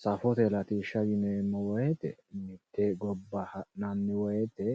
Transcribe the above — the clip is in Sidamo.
safote latishsha yineemmo woyte mitte gobba ha'nanni woyte